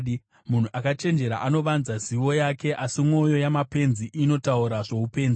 Munhu akachenjera anovanza zivo yake, asi mwoyo yamapenzi inotaura zvoupenzi.